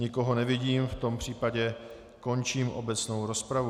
Nikoho nevidím, v tom případě končím obecnou rozpravu.